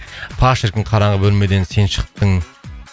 па шіркін қараңғы бөлмеден сен шықтың